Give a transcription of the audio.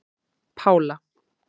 Pála